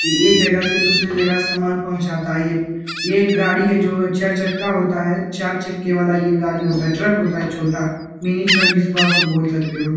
ये एक जगह से दूसरी जगह सामान पहुंचता है | ये ये एक गाड़ी है जो चार चक्का होता है चार चक्के वाला ये गाड़ी होता है ट्रक होता है छोटा मिनी ट्रक जिसको आप बोल सकते हो |